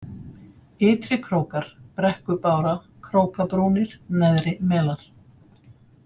Ytri-Krókar, Brekkubára, Krókabrúnir, Neðrimelar